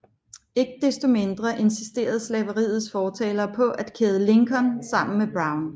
Ikke desto mindre insisterede slaveriets fortalere på at kæde Lincoln sammen med Brown